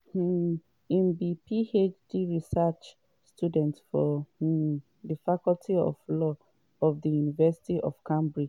um im be phd research student for um di faculty of law for di university of cambridge.